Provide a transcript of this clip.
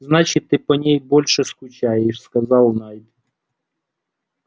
значит ты по ней больше скучаешь сказал найд